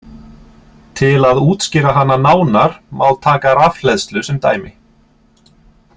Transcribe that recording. Til að útskýra hana nánar má taka rafhleðslu sem dæmi.